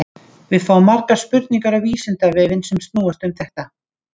Við fáum margar spurningar á Vísindavefinn sem snúast um þetta.